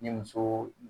Ni muso